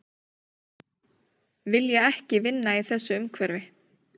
Vilja ekki vinna í þessu umhverfi